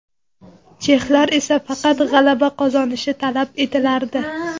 Chexlar esa faqat g‘alaba qozonishi talab etilardi.